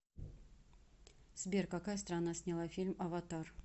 сбер какая страна сняла фильм аватар